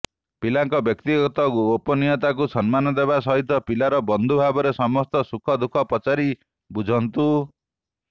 ପିଲାର ବ୍ୟକ୍ତିଗତ ଗୋପନୀୟତାକୁ ସମ୍ମାନ ଦେବା ସହିତ ପିଲାର ବନ୍ଧୁ ଭାବରେ ସମସ୍ତ ସୁଖ ଦୁଃଖ ପଚାରି ବୁଝନ୍ତୁ